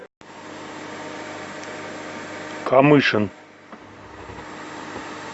камышин